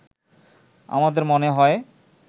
আমাদের মনে হয়